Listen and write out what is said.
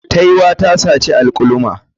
Taiwa ta saci alkaluma.